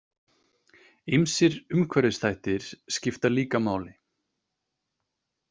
Ýmsir umhverfisþættir skipta líka máli.